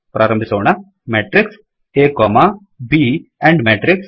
ಪ್ರಾರಂಭಿಸೋಣ matrixಮೆಟ್ರಿಕ್ಸ್ ಆ ಬ್ ಎಂಡ್ matrixಎಂಡ್ ಮೆಟ್ರಿಕ್ಸ್